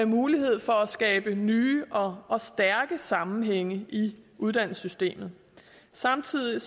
mulighed for at skabe nye og og stærke sammenhænge i uddannelsessystemet samtidig